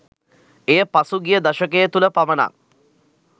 එය පසුගිය දශකය තුළ පමණක්